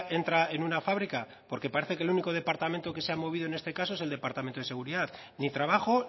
entra en una fábrica porque parece que el único departamento que se ha movido en este caso es el departamento y seguridad ni trabajo